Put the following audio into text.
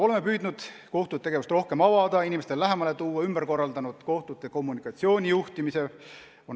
Oleme püüdnud kohtute tegevust rohkem avada, inimestele lähemale tuua, ümber korraldanud kohtute kommunikatsioonijuhtimise.